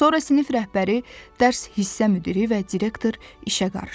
Sonra sinif rəhbəri, dərs hissə müdiri və direktor işə qarışdı.